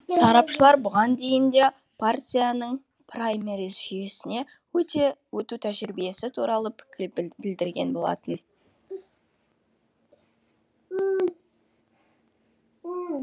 сарапшылар бұған дейін де партияның праймериз жүйесіне өту тәжірибесі туралы пікір білдірген болатын